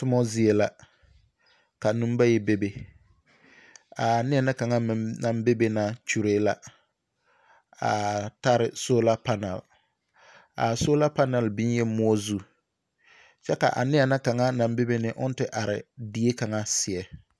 Toma zie la kanembayi bebe, a neɛ na kaŋa naŋ bebe na kyuree la a tare sola panɛl. a sola panal biŋ la moɔ zu. kyɛ ka ane na kaŋa naŋ bebe na ka o te are die kaŋa seɛ.